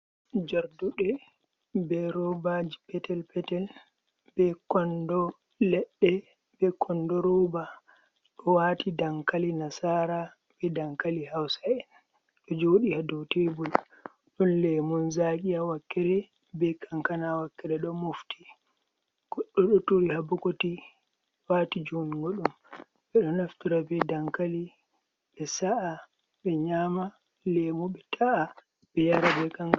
Jarduɗe be robaji petel petel ledde be kondo roba ɗo wati dankali nasara be dankali hausa’en do jodi haadow tebu.l Dun lemun zaqi ha wakere be kankana wakere do mofti. goɗɗo ɗo turi habakoti wati jungo dum. Ɓedo naftura be dankali be sa’a be nyama, lemu be ta’a be yara be kan.